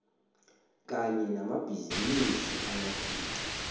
kanye namabhizinisi amakhulu